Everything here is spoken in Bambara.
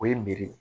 O ye meri ye